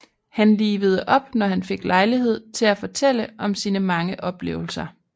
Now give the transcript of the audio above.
Han livede op når han fik lejlighed til at fortælle om sine mange oplevelser